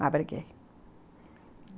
Mas briguei.